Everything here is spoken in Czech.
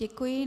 Děkuji.